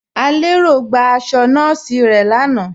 Alẹ́rọ̀ gba àṣọ̀ nọọ̀sí rẹ̀ láànà.